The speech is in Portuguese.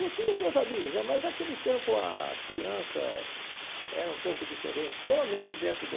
E tinha os meus amigos né, mas naquele tempo as crianças eram um pouco diferentes, pelo menos dentro do